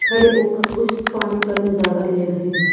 खड़े होकर उस पानी का नजारा ले रहे हैं।